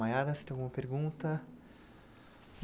Maiara, você tem alguma pergunta?